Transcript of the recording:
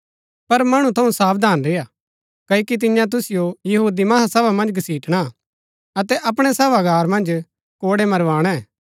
पर मणु थऊँ सावधान रेय्आ क्ओकि तियां तुसिओ महासभा मन्ज घसिटणा अतै अपणै सभागार मन्ज कोड़ै मरवाणै